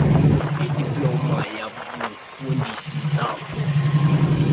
idiploma yobufundisi ntsapho